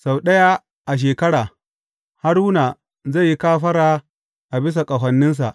Sau ɗaya a shekara, Haruna zai yi kafara a bisa ƙahoninsa.